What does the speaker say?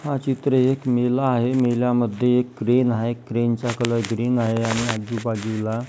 हा चित्र एक मेला आहे मेला मध्ये एक क्रेन आहे क्रेनचा कलर ग्रीन आहे आणि आजूबाजूला--